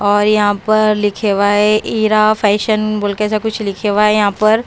और यहाँ पर लिखे हुआ है ईरा फैशन बोल के ऐसा कुछ लिखे हुआ है यहाँ पर।